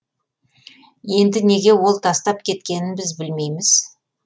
енді неге ол тастап кеткенін біз білмейміз